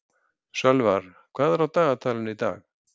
Sölvar, hvað er á dagatalinu í dag?